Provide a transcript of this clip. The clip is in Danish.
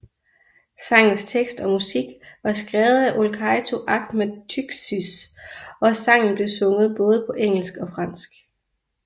Sangens tekst og musik var skrevet af Olcayto Ahmet Tuğsuz og sangen blev sunget både på engelsk og fransk